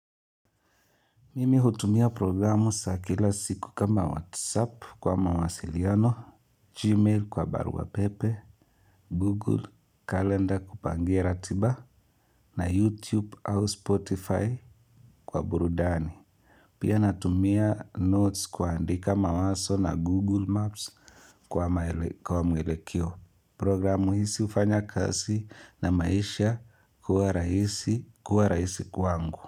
Mimi hutumia programu za kila siku kama WhatsApp kwa mawasiliano, Gmail kwa barua pepe, Google, kalenda kupangia ratiba na YouTube au Spotify kwa burudani. Pia natumia notes kuandika mawazo na Google Maps kwa maeleko kwa mwelekeo. Programu hizi hufanya kazi na maisha kuwa rahisi kuwa rahisi kwangu.